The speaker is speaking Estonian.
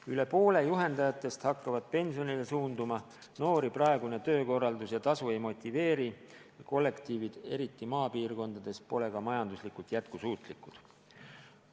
Rohkem kui pooled juhendajatest hakkavad pensionile suunduma, noori praegune töökorraldus ja tasu ei motiveeri ning kollektiivid, eriti maapiirkondades, pole ka majanduslikult jätkusuutlikud.